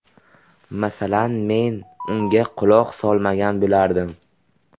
Masalan, men unga quloq solmagan bo‘lardim.